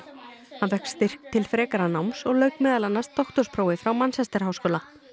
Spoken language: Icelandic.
hann fékk styrk til frekara náms og lauk meðal annars doktorsprófi frá Manchester háskóla